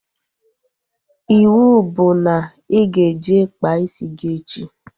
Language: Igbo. Iwu bụ na ị ga-eje kpaa isi gị echi!